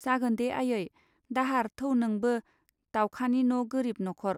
जागोनदे आयै दाहार थौ नोंबो दावखानि न' गोरिब न'खर.